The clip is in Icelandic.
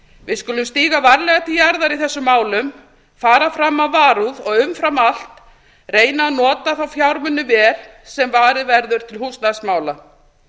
við skulum stíga varlega til jarðar í þessum málum fara fram af varúð og umfram allt reyna að nota þá fjármuni vel sem varið verður til húsnæðismála